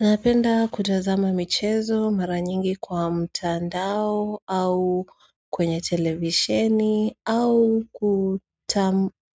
Napenda kutazama michezo mara nyingi kwa mtandao au kwenye televisheni au